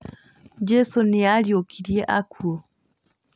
Jesũ nĩariũkirie akuũ